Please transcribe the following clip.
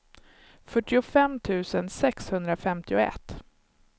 fyrtiofem tusen sexhundrafemtioett